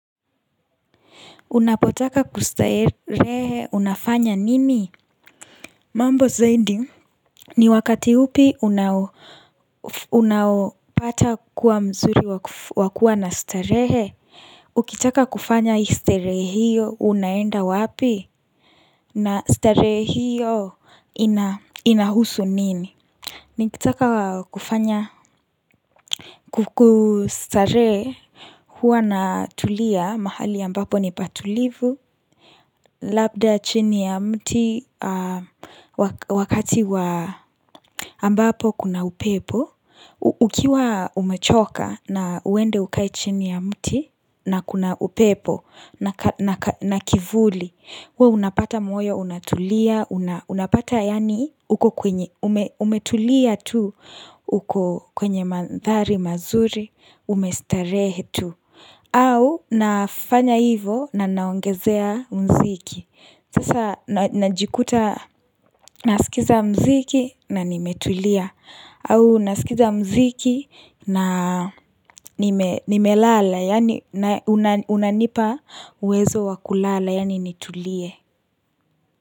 Unapotaka kustarehe unafanya nini? Mambo zaidi ni wakati upi unapata kuwa mzuri wakua na starehe Ukitaka kufanya starehe hiyo unaenda wapi? Na starehe hiyo inahusu nini? Nikitaka kufanya kustarehe Huanatulia mahali ambapo ni patulivu Labda chini ya mti wakati wa ambapo kuna upepo Ukiwa umechoka na uende ukae chini ya mti na kuna upepo na kivuli we unapata moyo, unatulia, unapata yani umetulia tu uko kwenye mandhari mazuri, umestarehe tu au nafanya hivo na naongezea mziki sasa najikuta nasikiza mziki na nimetulia au nasikiza mziki na nimelala Yani unanipa uwezo wa kulala Yani nitulie.